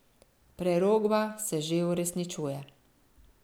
Prerokba se že uresničuje.